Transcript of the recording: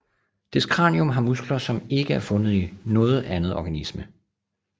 Dets kranium har muskler som er ikke er fundet i noget andet organisme